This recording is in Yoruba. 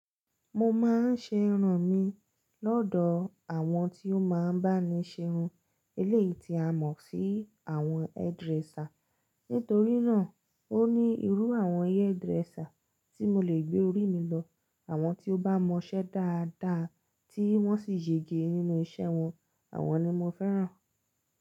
Mo máa ń ṣe irun mi lọ́dọ̀ àwọn tí ó máa ń bá mi ṣe irun. Eléyìí ti a mọ̀ sí àwọn hairdresser. Nítorí náà, ó ní irú àwọn ẹ hairdresser tí mo lè gbé orí mi lọ. Àwọn tí ó bá mọṣẹ́ dáadáa tí wọ́n sì yege nínú iṣẹ́ wọn. Àwọn ni mo fẹ́ràn.